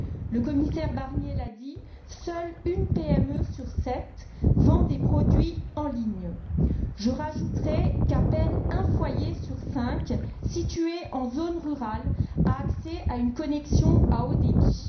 Le commissaire Barnier l'a dit, seule une PME sur sept vend des produits en ligne. Je rajouterai qu'à peine un foyer sur cinq situés en zone rurale a accès à une connexion à haut débit.